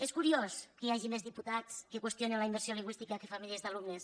és curiós que hi hagi més diputats que qüestionen la immersió lingüística que famílies d’alumnes